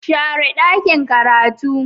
share dakin karatun